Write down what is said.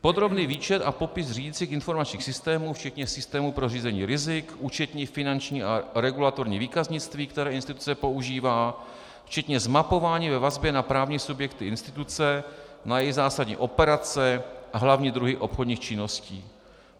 Podrobný výčet a popis řídicích informačních systémů, včetně systému pro řízení rizik, účetní, finanční a regulatorní výkaznictví, které instituce využívá, včetně zmapování ve vazbě na právní subjekty instituce, na její zásadní operace a hlavní druhy obchodních činností.